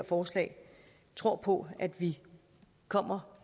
forslaget tror på at vi kommer